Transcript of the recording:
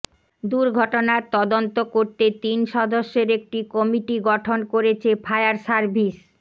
দুর্ঘটনার তদন্ত করতে তিন সদস্যের একটি কমিটি গঠন করেছে ফায়ার সার্ভিস